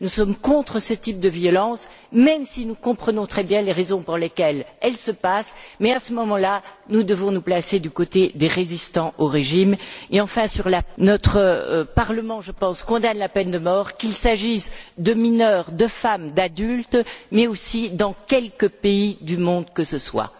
Nous sommes contre ce type de violence, même si nous comprenons très bien les raisons pour lesquelles elles se passent, mais à moment là, nous devons nous placer du côté des résistants au régime. Et enfin, notre Parlement, je pense, condamne la peine de mort, qu'il s'agisse de mineurs, de femmes, d'adultes, mais aussi dans quelque pays du monde que ce soit.